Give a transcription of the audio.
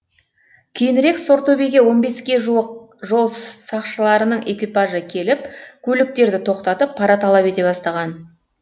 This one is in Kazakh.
кейінірек сортөбеге он беске жуық жол сақшыларының экипажы келіп көліктерді тоқтатып пара талап ете бастаған